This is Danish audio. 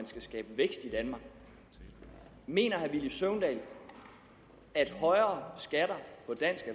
skal skabe vækst i danmark mener herre villy søvndal at højere skatter